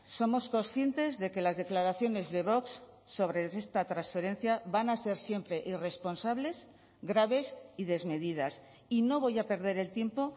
somos conscientes de que las declaraciones de vox sobre esta transferencia van a ser siempre irresponsables graves y desmedidas y no voy a perder el tiempo